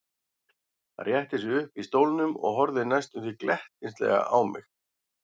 Hann rétti sig upp í stólnum og horfði næstum því glettnislega á mig.